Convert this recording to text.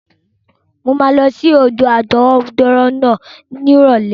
Mo máa lọ sí odò àtọwọ́dá náà ní ìrọ̀lẹ́.